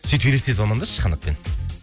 сөйтіп елестетіп амандасшы қанатпен